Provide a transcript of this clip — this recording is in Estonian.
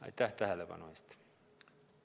Aitäh tähelepanu eest!